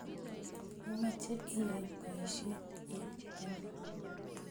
Imoche iyai poisyet eng' ano?